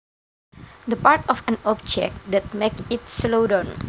The part of an object that makes it slow down